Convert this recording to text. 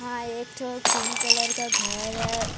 यहां एक ठो पिंक कलर का घर है।